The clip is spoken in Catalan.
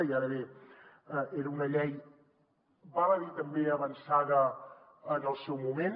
i ara bé era una llei val a dir també avançada en el seu moment